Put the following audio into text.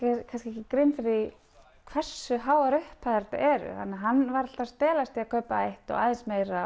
ekki grein fyrir því hversu háar upphæðir þetta eru þannig að hann var að stelast til að kaupa eitt og aðeins meira